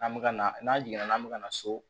An bɛ ka na n'an jiginna an bɛ ka na so